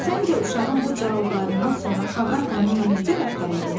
Səncə uşağın bu cavablarından sonra Xaqan onunla necə rəftar edəcək?